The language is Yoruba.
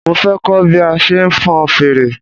Mo fẹ kọ́ bí a ṣe ń fon fèrè